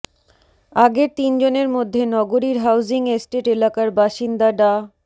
আগের তিনজনের মধ্যে নগরীর হাউজিং এস্টেট এলাকার বাসিন্দা ডা